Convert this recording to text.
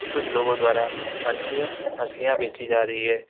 कुछ लोगो द्वारा मछलियो मछलियां बेचीं जा रही है।